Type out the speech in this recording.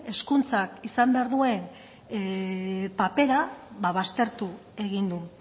hezkuntzak izan behar duen papera baztertu egin du